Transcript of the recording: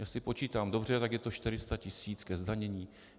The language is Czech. Jestli počítám dobře, tak je to 400 tis. ke zdanění.